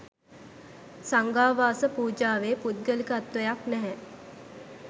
සංඝාවාස පූජාවේ පුද්ගලිකත්වයක් නැහැ.